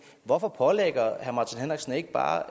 hvorfor pålægger herre martin henriksen ikke bare